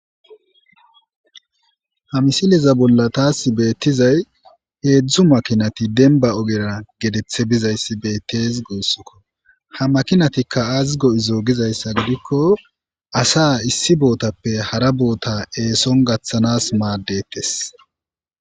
Ha misileza bolla taas beettizay heedzdzu makinati denba ogera getethe bizayssi beettes goossikko ha makinatikka azigo izo gizayssa gidikko asa issi bootappe hara boota eeson gaththanas maaddettes